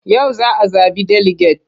Yau za a zaɓi deliget.